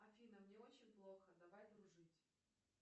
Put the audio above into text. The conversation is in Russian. афина мне очень плохо давай дружить